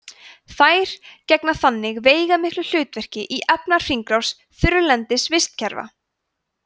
þær gegna þannig veigamiklu hlutverki í efnahringrás þurrlendis vistkerfa